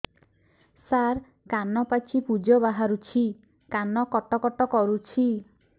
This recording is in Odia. ସାର କାନ ପାଚି ପୂଜ ବାହାରୁଛି କାନ କଟ କଟ କରୁଛି